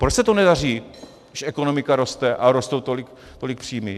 Proč se to nedaří, když ekonomika roste a rostou tolik příjmy?